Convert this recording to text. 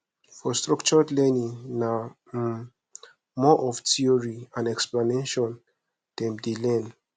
for structured learning na um more of theory and explanation dem de learn